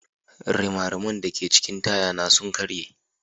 Rimariman da ke cikin taya na sun karye.